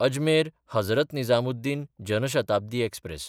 Ajmer-Hazrat Nizamuddin Jan Shatabdi express